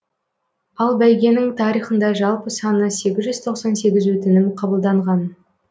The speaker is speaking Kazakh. ал бәйгенің тарихында жалпы саны сегіз жүз тоқсан сегіз өтінім қабылданған